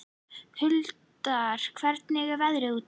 Huldar, hvernig er veðrið úti?